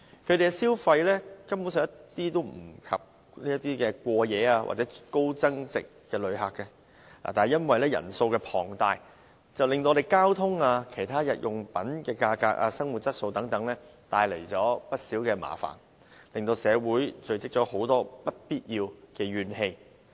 他們的消費根本及不上過夜或高增值旅客，而且因為其人數龐大，更為我們的交通、日用品價格、生活質素等帶來不少麻煩，令社會積聚了很多不必要的怨氣。